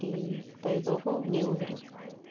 и по итогу мне его вырезали